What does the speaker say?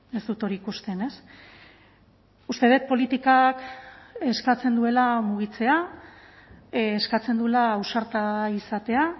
ez dut hori ikusten ez uste dut politikak eskatzen duela mugitzea eskatzen duela ausarta izatea